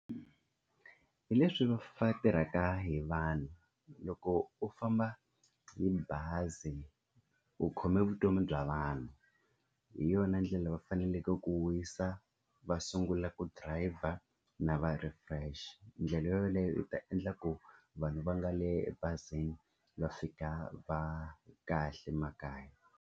Hi leswi va tirhaka hi vanhu, loko u famba hi bazi u khome vutomi bya vanhu hi yona ndlela va faneleke ku wisa va sungula ku driver na va refresh. Ndlela yoleyo u ta endla ku vanhu va nga le ebazini va fika va ri kahle makaya.